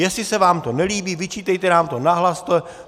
Jestli se vám to nelíbí, vyčítejte nám to nahlas.